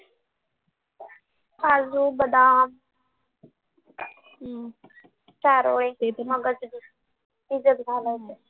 काजू बदाम चारोळे दुधात घालायचे